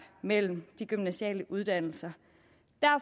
mellem de gymnasiale uddannelser